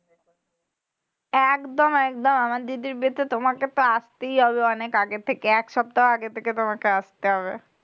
একদম একদম আমার দিদির বিয়েতে তোমাকে তো আসতেই হবে। অনেক আগে থেকে এক সপ্তাহ আগে থেকে তোমাকে আসতে হবে।